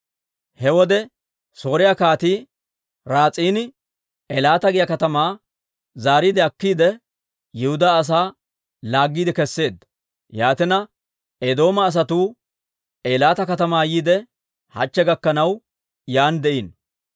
He wode Sooriyaa Kaatii Raas'iini Eelaata giyaa katamaa zaariide akkiide, Yihudaa asaa laaggiide keseedda. Yaatina Eedooma asatuu Eelaata katamaa yiide, hachche gakkanaw yaan de'iino.